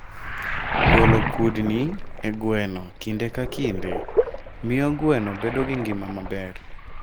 Golo kudni e gweno kinde ka kinde, miyo gweno bedo gi ngima maber.